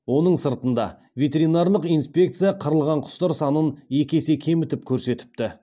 оның сыртында ветеринарлық инспекция қырылған құстар санын екі есе кемітіп көрсетіпті